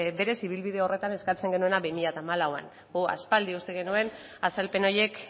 berez ibilbide horretan eskatzen genuena bi mila hamalauan aspaldi uste genuen azalpen horiek